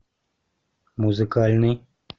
музыкальный